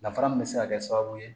Danfara min bɛ se ka kɛ sababu ye